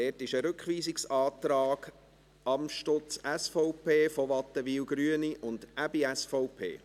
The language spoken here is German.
Dazu gibt es einen Rückweisungsantrag Amstutz/SVP, von Wattenwyl/Grüne und Aebi/SVP.